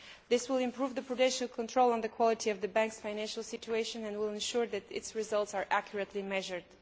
This will improve the prudential control on the quality of the Bank's financial situation and will ensure that its results are accurately measured.